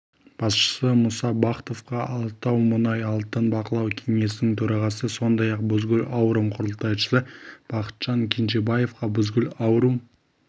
басшысы мұса бахтовқа алатаумұнайалтын бақылау кеңесінің төрағасы сондай-ақ бузгул аурум құрылтайшысы бақытжан кенжебаевқа бузгул аурум